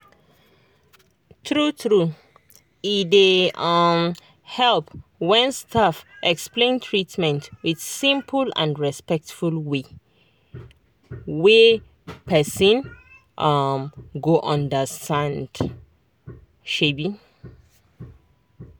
true true e dey um help when staff explain treatment with simple and respectful way wey person um go understand. um